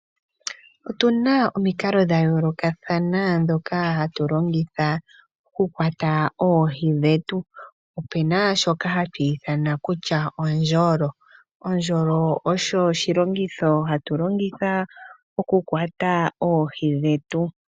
Otuna omikalo dha yoolokathana dhoka hatu longitha oku kwata oohi dhetu, opena shoka hatu ithana kutya ondjolo, ondjolo osho oshilongitho hatu longitha oku kwata oohi dhetu